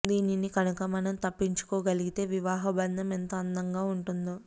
దీనిని కనుక మనం తప్పించుకోగలిగితే వివాహ బంధం ఎంత అందం గా ఉంటుందో